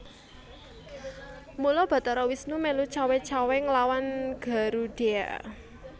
Mula Bathara Wisnu mèlu cawé cawé nglawan Garudheya